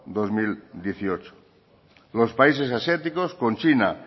dos mil dieciocho los países asiáticos con china